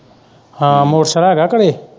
ਹਾਂ ਮੋਟਰਸਾਇਕਲ ਹੈਗਾ ਘਰੇ।